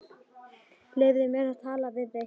Leyfðu mér að tala við þig!